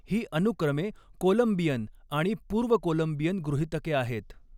ही अनुक्रमे कोलंबियन आणि पूर्व कोलंबियन गृहीतके आहेत.